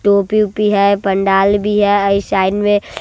टोपी ओपी है पंडाल भी है अइ साइड में--